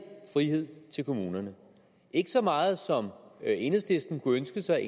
frihed til kommunerne ikke så meget som enhedslisten kunne ønske sig